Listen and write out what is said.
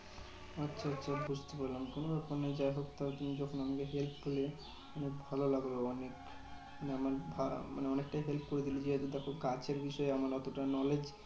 আচ্ছা আচ্ছা বুঝতে পেলাম। কোনো ব্যাপার নেই যাহোক তুমি যখন আমাকে help করলে অনেক ভালো লাগলো। অনেক মানে অনেকটাই help করে দিলে। যেহেতু দেখো গাছের বিষয় আমার অতটা knowledge